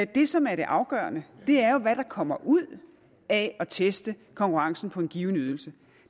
det som er det afgørende er jo hvad der kommer ud af at teste konkurrencen på en given ydelse